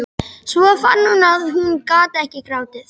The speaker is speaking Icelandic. Svo fann hún að hún gat ekki grátið.